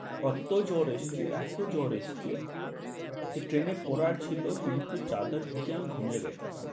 কত্তো জ্বর এসছে, এত্তো জ্বর এসছে। যে train এ পড়ার ছিলো কিন্তু চাদর ঢেকে আমি ঘুমিয়ে যাইতাছি।